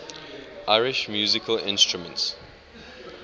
irish musical instruments